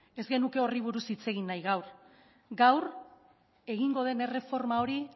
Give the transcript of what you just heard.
ez genuke horri buruz hitz egin nahi gaur gaur egingo den erreforma hori